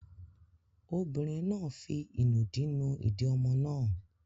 Obìnrin náà fi ìnùdí nu ìdí ọmọ náà.